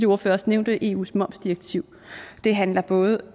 ordførere også nævnte eus momsdirektiv det handler både